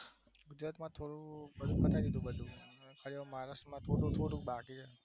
બે ચાર જગ્યા બધું પતાયી દીધેલું હવે મહારાષ્ટ્રમાં થોડું થોડું બાકી જ છે